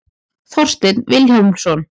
Þorsteinn Vilhjálmsson.